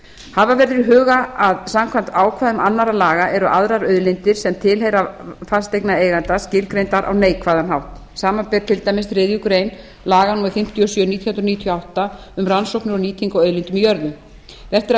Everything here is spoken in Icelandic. hafa verður í huga að samkvæmt ákvæðum annarra laga eru aðrar auðlindir sem tilheyra fasteignareiganda skilgreindar á neikvæðan hátt samanber til dæmis þriðju grein laga númer fimmtíu og sjö nítján hundruð níutíu og átta um rannsóknir og nýtingu á auðlindum í jörðu rétt er að